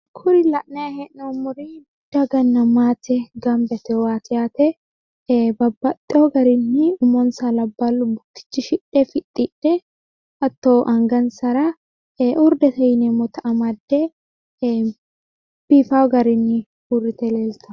Kuri la'nanni hee'noommori daganna maatete insano labbalu umo bukkisidhe angansara uride amade biifano garinni leelittanni no